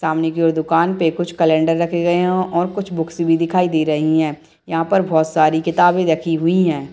सामने की और दुखान पे कुछ कैलेंडर रखे गए हैंऔर कुछ बुक्स भी दिखाई दे रही हैं यहाँ पर बहोत सारी किताबे रखी हुई हैं।